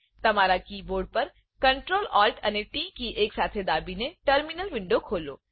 તમારા કીબોર્ડ પર Ctrl Alt અને ટી કી એકસાથે દાબીને ટર્મીનલ વિન્ડો ખોલો